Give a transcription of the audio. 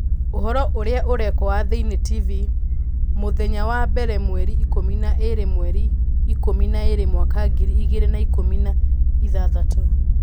Ũhoro ũria ũrekwo wa thĩĩnĩ tv mũmũthenya wa mbere mweri ikũmi na ĩĩrĩ mweri ikũmi na ĩĩrĩ mwaka ngiri igĩrĩ na ikũmi na ithathatũ